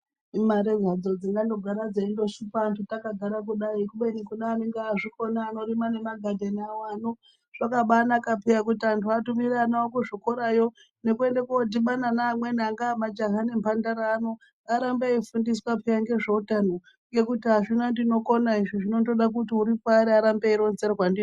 Imare hadzo dzingandogara dzeishupa antu zvatakagara kudai. Kubeni kune anenge azvikona anorima magadheni awo. Zvakabaanaka peya kuti antu atumire ana awo kuzvikorayo. Nekuenda koondodhibana neamweni angaa majaha nemhandara ano arambe eifundiswa peyaa ngezveutano. Ngekuti azvina ndinokona izvi zvondoda kuti uri paari arambe eironzerwa ndizvo.